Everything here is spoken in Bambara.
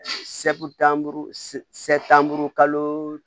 kalo